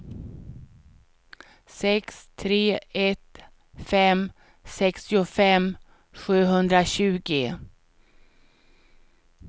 sex tre ett fem sextiofem sjuhundratjugo